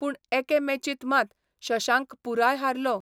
पूण एके मॅचींत मात शशांक पुराय हारलो.